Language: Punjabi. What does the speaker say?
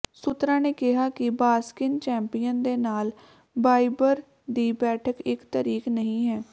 ਸੂਤਰਾਂ ਨੇ ਕਿਹਾ ਕਿ ਬਾਸਕਿਨ ਚੈਂਪੀਅਨ ਦੇ ਨਾਲ ਬਾਇਬਰ ਦੀ ਬੈਠਕ ਇੱਕ ਤਾਰੀਖ ਨਹੀਂ ਹੈ